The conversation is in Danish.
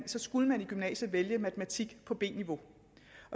så skulle man i gymnasiet vælge matematik på b niveau